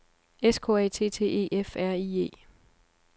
S K A T T E F R I E